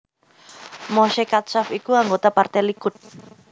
Moshe Katsav iku anggota Partai Likud